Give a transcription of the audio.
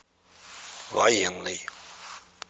военный